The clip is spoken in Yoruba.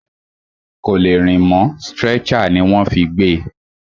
Kò lè rìn mọ́, stretcher ní wọ́n fí gbé e.